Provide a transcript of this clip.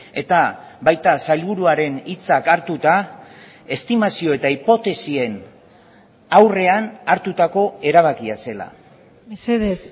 eta baita sailburuaren hitzak hartuta estimazio eta hipotesien aurrean hartutako erabakia zela mesedez